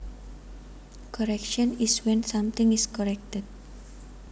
Correction is when something is corrected